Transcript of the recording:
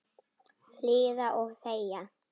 Hlýða og þegja.